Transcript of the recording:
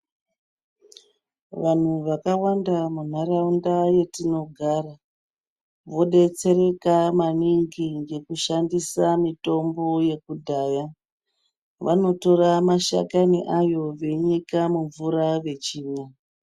Vanhu vakawanda munharawunda yetinogara, vodetsereka maningi ngekushandisa mitombo yekudhaya. Vanotora mashakani ayo veyinyika mumvura vechimwa.